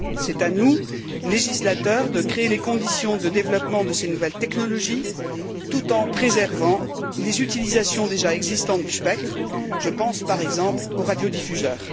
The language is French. C'est à nous, législateurs, de créer les conditions du développement de ces nouvelles technologies tout en préservant les utilisations déjà existantes du spectre, par exemple celle des radiodiffuseurs.